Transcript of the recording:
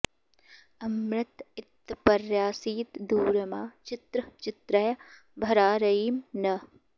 अ॒मृत॒ इत्पर्या॑सीत दू॒रमा चि॑त्र॒ चित्र्यं॑ भरा र॒यिं नः॑